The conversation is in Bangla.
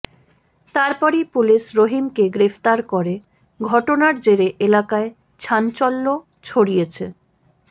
তারপরই পুলিশ রহিমকে গ্রেফতার করে ঘটনার জেরে এলাকায় ছাঞ্চল্য ছড়িয়েছে